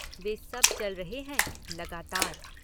वे सब चल रहे हैं लगातार।